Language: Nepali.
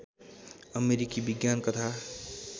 अमेरिकी विज्ञान कथा